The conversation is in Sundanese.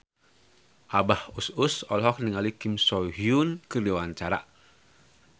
Abah Us Us olohok ningali Kim So Hyun keur diwawancara